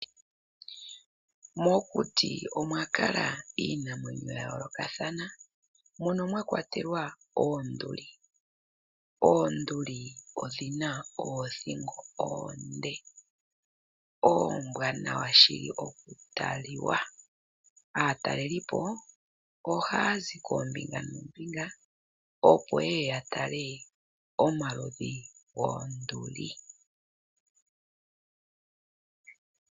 Mokuti omwa kala iinamwenyo ya yolokathana. Mono mwakwatelwa oonduli. Oonduli odhina oothigo oonde ombwanawa shili oku taliwa. Aatalelipo oha zi koombinga noombinga opo yeye ya tale omaludhi goonduli.